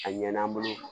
A ɲɛna an bolo